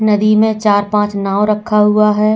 नदी में चार-पांच नाव रखा हुआ है।